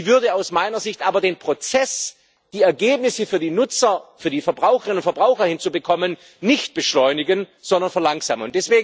Sie würde aus meiner Sicht aber den Prozess, die Ergebnisse für die Nutzer, für die Verbraucherinnen und Verbraucher hinzubekommen, nicht beschleunigen, sondern verlangsamen.